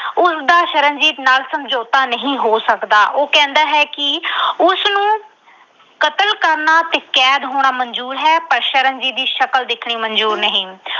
ਉਸਦਾ ਸ਼ਰਨਜੀਤ ਨਾਲ ਸਮਝੌਤਾ ਨਹੀਂ ਹੋ ਸਕਦਾ। ਉਹ ਕਹਿੰਦਾ ਹੈ ਕਿ ਉਸਨੂੰ ਕਤਲ ਕਰਨਾ ਤੇ ਕੈਦ ਹੋਣਾ ਮਨਜ਼ੂਰ ਹੈ ਪਰ ਸ਼ਰਨਜੀਤ ਦੀ ਸ਼ਕਲ ਦੇਖਣੀ ਮਨਜ਼ੂਰ ਨਹੀਂ।